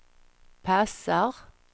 passar